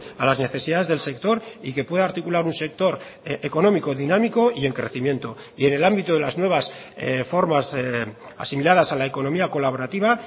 a las necesidades del sector y que pueda articular un sector económico dinámico y en crecimiento y en el ámbito de las nuevas formas asimiladas a la economía colaborativa